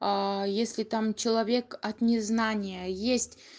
если там человек от незнания есть